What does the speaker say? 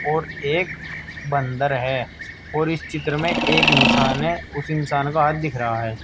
और एक बंदर है और इस चित्र में एक इंसान है उस इंसान का हाथ दिख रहा है।